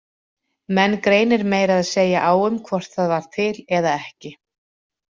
Menn greinir meira að segja á um hvort það var til eða ekki.